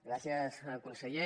gràcies conseller